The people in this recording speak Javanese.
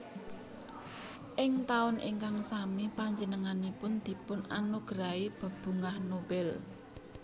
Ing taun ingkang sami panjenenganipun dipun anugerahi bebungah Nobel